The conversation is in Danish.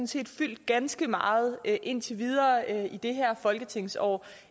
set fyldt ganske meget indtil videre i det her folketingsår